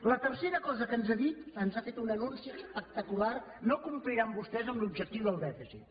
la tercera cosa que ens ha dit ens ha fet un anunci espectacular no compliran vostès amb l’objectiu del dèficit